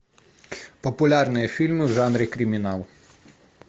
популярные фильмы в жанре криминал